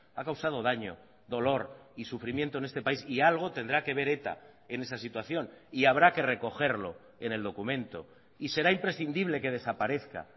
ha causado daño dolor y sufrimiento en este país y algo tendrá que ver eta en esa situación y habrá que recogerlo en el documento y será imprescindible que desaparezca